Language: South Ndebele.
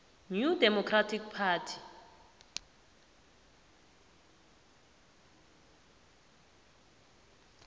new democratic party